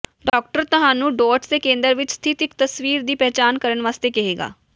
doctor ਤੁਹਾਨੂੰ dots ਦੇ ਕੇਂਦਰ ਵਿਚ ਸਥਿਤ ਇਕ ਤਸਵੀਰ ਦੀ ਪਛਾਣ ਕਰਨ ਲਈ ਕਹੇਗਾ